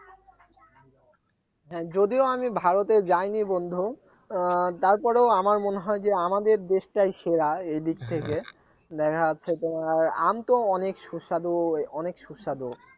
হ্যাঁ যদিও আমি ভারতে যাইনি বন্ধু আহ তারপরও আমার মনে হয় আমাদের দেশটাই সেরা এদিক থেকে দেখা যাচ্ছে তোমার আম তো অনেক সুস্বাদু অনেক সুস্বাদু